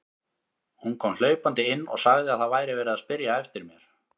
Hún kom hlaupandi inn og sagði að það væri verið að spyrja eftir mér.